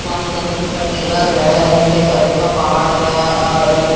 पानी जाता दिखाई दे लग रिया है इसके साइड में पहाड़ है और--